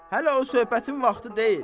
Hələ o söhbətin vaxtı deyil.